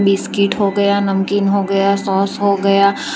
biscuit हो गया नमकीन हो गया सोस हो गया --